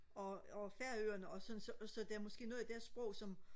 og og færøerne og sådan så så der er måske noget i deres sprog som